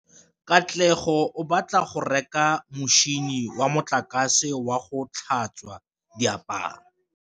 Katlego o batla go reka motšhine wa motlakase wa go tlhatswa diaparo.